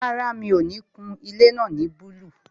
Rárá, mi ò ní kun ilé náà ní búlúù